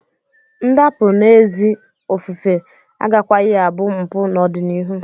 Ndapụ n'ezi ofufe agakwaghị abụ mpụ n'ọdịnihu.